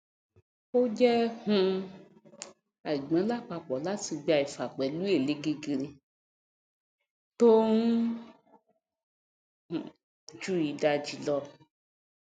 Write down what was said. o jé um àigbọn lápapò láti gba ìfà pẹlú èlé gegere tó um ju ìdajì lọ